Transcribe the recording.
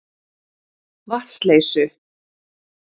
Vatnsleysu